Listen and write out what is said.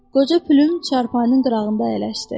Qoca Pülüm çarpayının qırağında əyləşdi.